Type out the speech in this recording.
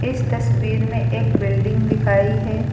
इस तस्वीर में एक बिल्डिंग दिखाई है।